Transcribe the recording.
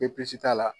Bpco t'a la